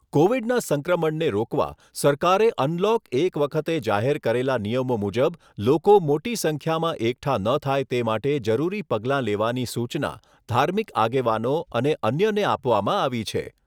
કોવિડના સંક્રમણને રોકવા સરકારે અનલોક એક વખતે જાહેર કરેલા નિયમો મુજબ લોકો મોટી સંખ્યામાં એકઠા ન થાય તે માટે જરૂરી પગલાં લેવાની સૂચના ધાર્મિક આગેવાનો અને અન્યને આપવામાં આવી છે.